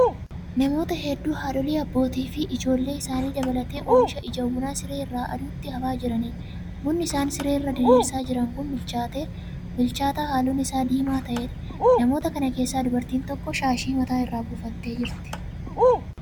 Namoota hedduu haadholii, abbootii fi ijoollee isaanii dabalatee oomisha ija bunaa siree irra aduutti hafaa jiraniidha. Bunni isaan siree irra diriirsaa jiran kun bilchaataa halluun isaa diimaa ta'eedha. Namoota kana keessaa dubartiin tokko shaashii mataa irra buufattee jirti.